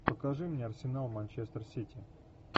покажи мне арсенал манчестер сити